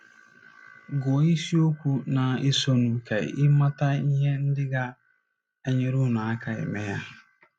Gụọ isiokwu na - esonụ ka ị mata ihe ndị ga - enyere unu aka ime ya.